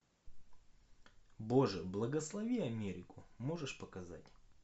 боже благослови америку можешь показать